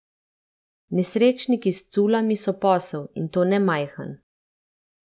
Nesrečniki s culami so posel, in to ne majhen.